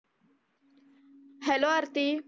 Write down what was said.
Hollow Aarti.